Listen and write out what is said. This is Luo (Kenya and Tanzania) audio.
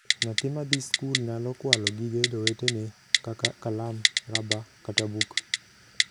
Nyathi ma dhii skul nyalo kwalo gige jowetene kaka kalam, raba, kata buk.